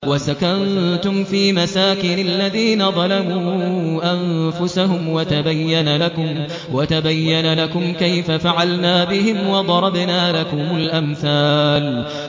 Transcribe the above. وَسَكَنتُمْ فِي مَسَاكِنِ الَّذِينَ ظَلَمُوا أَنفُسَهُمْ وَتَبَيَّنَ لَكُمْ كَيْفَ فَعَلْنَا بِهِمْ وَضَرَبْنَا لَكُمُ الْأَمْثَالَ